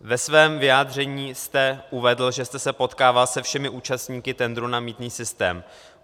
Ve svém vyjádření jste uvedl, že jste se potkával se všemi účastníky tendru na mýtný systém.